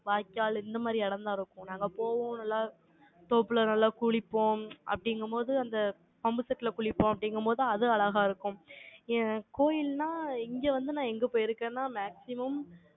வாய்க்கால், இந்த மாதிரி இடம்தான் இருக்கும். நாங்க போவோம், நல்லா தோப்புல நல்லா குளிப்போம், அப்படிங்கும்போது, அந்த pump set ல குளிப்போம், அப்படிங்கும்போது, அது அழகா இருக்கும். ஏன், கோயில்னா, இங்க வந்து, நான் எங்க போயிருக்கேன்னா, maximum